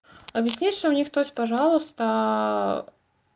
объясни что у них тоже пожалуйста